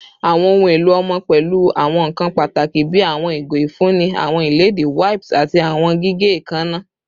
Awọn ohun elo ọmọ pẹlu awọn nkan pataki bii awọn igo ifunni, awọn iledìí, wipes, ati awọn gige eekanna